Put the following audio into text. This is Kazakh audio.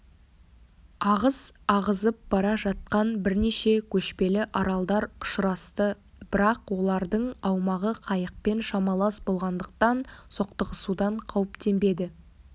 ағыс ағызып бара жатқан бірнеше көшпелі аралдар ұшырасты бірақ олардың аумағы қайықпен шамалас болғандықтан соқтығысудан қауіптенбеді